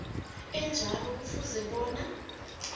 enjalo kufuze bona